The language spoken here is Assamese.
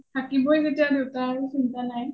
থাকিবই যেতিয়া দেউতা আৰু চিন্টা নাই